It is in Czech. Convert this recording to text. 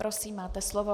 Prosím, máte slovo.